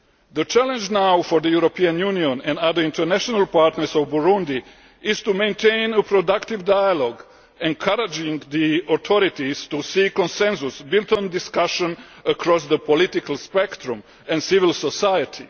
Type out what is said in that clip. The challenge now for the European Union and other international partners of Burundi is to maintain a productive dialogue, encouraging the authorities to seek consensus built on discussion across the political spectrum and civil society.